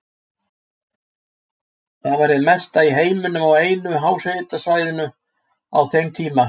Það var hið mesta í heiminum á einu háhitasvæði á þeim tíma.